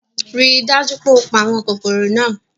Rii daju pe o pa awọn kokoro naa